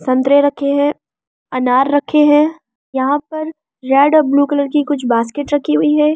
संतरे रखे हैं अनार रखे हैं यहां पर रेड और ब्‍लू कलर की कुछ बासकेट रखी हुई है यहां पर एक--